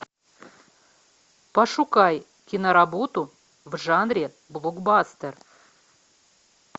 пошукай киноработу в жанре блокбастер